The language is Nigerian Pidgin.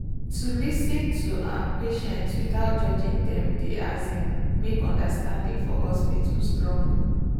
to lis ten to um patients without judging dem dey um make understanding for hospital strong.